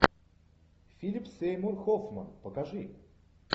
филип сеймур хоффман покажи